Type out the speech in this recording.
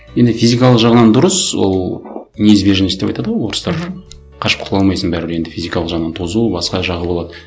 енді физикалық жағынан дұрыс ол неизбежность деп айтады ғой орыстар мхм қашып құтыла алмайсың бәрібір енді физикалық жағынан тозу басқа жағы болады